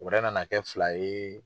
Wɛrɛ na na kɛ fila ye.